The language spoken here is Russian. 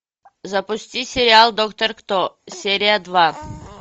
запусти сериал доктор кто серия два